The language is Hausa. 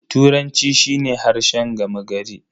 Turanci shi ne harshen gama gari.